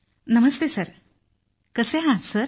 नमस्ते sir कसे आहात sir